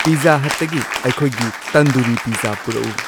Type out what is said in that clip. pizza ꯍꯠꯇꯒꯤ ꯑꯩꯈꯣꯏꯒꯤ tandoori pizza ꯄꯨꯔꯛꯎ